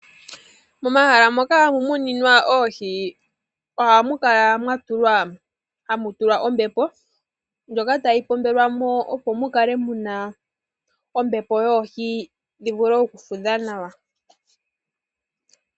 Momahala moka muna oohi . Ohamu kala mwa tulwa ombepo mbyoka tayi pombelewa mo opo mukale muna ombepo yoohi yoku fudha nawa.